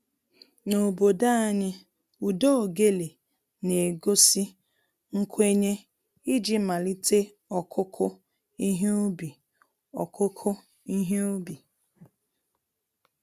N'obodo anyị, ụda ogele na-egosi nkwenye iji malite ọkụkụ ihe ubi ọkụkụ ihe ubi